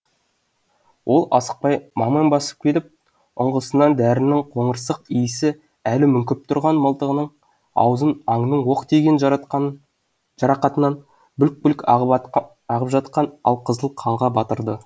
ол асықпай маң маң басып келіп ұңғысынан дәрінің қоңырсық иісі әлі мүңкіп тұрған мылтығының аузын аңның оқ тиген жарақатынан бүлк бүлк ағып жатқан алқызыл қанға батырды